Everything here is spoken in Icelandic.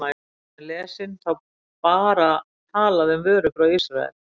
Þegar hún er lesin, þá er bara talað um vörur frá Ísrael?